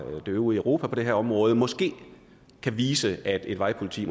det øvrige europa på det her område måske kan vise at et vejpoliti